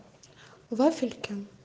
вафельки